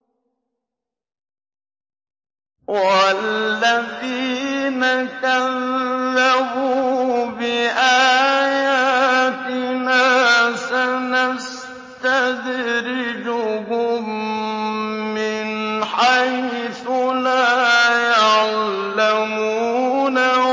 وَالَّذِينَ كَذَّبُوا بِآيَاتِنَا سَنَسْتَدْرِجُهُم مِّنْ حَيْثُ لَا يَعْلَمُونَ